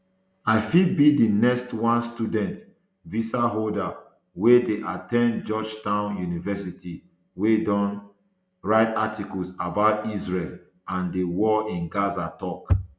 i fit be di next one student visaholder wey dey at ten d georgetown university wey don write articles about israel and di war in gaza tok